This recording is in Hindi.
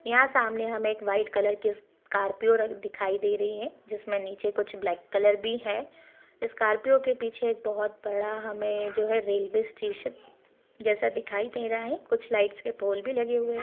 यहाँ हम सामने हमें व्हाइट कलर की स्कार्पिओ दिखाई दे रही है जिसमे नीचे कुछ ब्लैक कलर भी है स्कार्पियो के पीछे एक बहुत बड़ा हमे जो है रेलवे स्टेशन दिखाई दे रहा है कुछ लाइटस के पोल भी लगे हुए हैं।